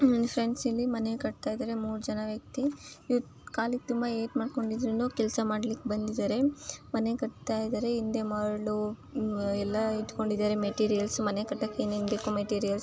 Friends ಇಲ್ಲಿ ಮನೆ ಕಟ್ಟತ್ತಿದ್ದಾರೆ. ಮೂರು ಜನ ವ್ಯಕ್ತಿ ಇವರು ಕಾಲಿಗೆ ತುಂಬಾ ಏಟ್ ಮಾಡ್ಕೊಂಡಿದ್ದರು ಕೆಲಸ ಮಾಡ್ಲಿಕೆ ಬಂದಿದಾರೆ. ಮನೆ ಕಟ್ತಾ ಇದಾರೆ ಹಿಂದೆ ಮರಳು ಎಲ್ಲಾ ಇಟ್ಕೊಂಡಿದಾರೆ. ಮೆಟೀರಿಯಲ್ಸ್ ಮನೆ ಕಟ್ಟಕೆ ಏನೇನು ಬೇಕು ಮೇಟ್ರಿಯಲ್ಸ್ --